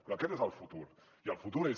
però aquest és el futur i el futur és